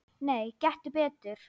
Nei, gettu betur